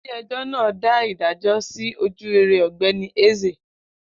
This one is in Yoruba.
Ile ejò na da ìdájọ is ojurere ogbeni Eze